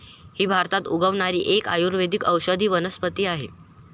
ही भारतात उगवणारी एक आयुर्वेदिक औषधी वनस्पती आहे.